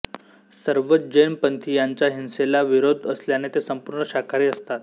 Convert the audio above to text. सर्वच जैन पंथीयांचा हिंसेला विरोध असल्याने ते संपूर्ण शाकाहारी असतात